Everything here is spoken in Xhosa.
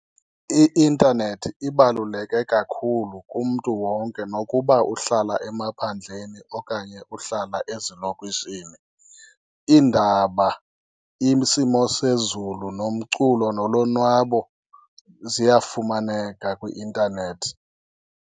I-intanethi ibaluleke kakhulu kumntu wonke nokuba uhlala emaphandleni okanye uhlala ezilokishini. Iindaba, isimo sezulu, nomculo nolonwabo ziyafumaneka kwi-intanethi.